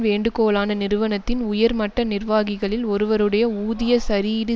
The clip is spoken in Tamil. வேண்டுகோளான நிறுவனத்தின் உயர்மட்ட நிர்வாகிகளில் ஒருவருடைய ஊதிய சரியீடு